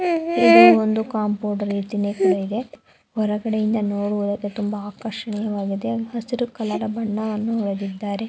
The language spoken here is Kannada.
ಇದು ಕಾಂಪೌಂಡ್ ರೀತಿಯಲ್ಲಿ ಒರಗಡೆಯಿಂದ ನೋಡಲು ತುಂಬ ಆರ್ಷಿಯವಾಗಿದೆ ಹಸಿರು ಕಾಲೌರಿನ ಬಣ್ಣವನ್ನು ಹಚ್ಚಿದರೆ --